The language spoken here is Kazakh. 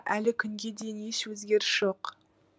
әлі күнге дейін еш өзгеріс жоқ